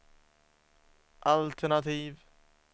altenativ